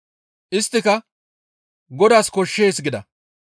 Isttika, «Godaas koshshees» gida.